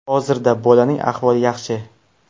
Hozirda bolaning ahvoli yaxshi.